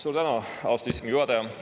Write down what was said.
Suur tänu, austatud istungi juhataja!